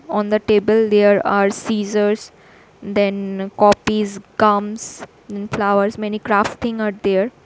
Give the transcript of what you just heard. On the table there are scissors then copies comes in flowers many crafting are there.